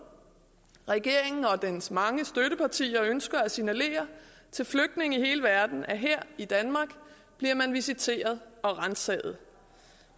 regeringen og dens mange støttepartier ønsker at signalere til flygtninge i hele verden at her i danmark bliver man visiteret og ransaget